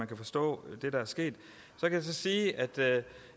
kan forstå det der er sket jeg kan så sige at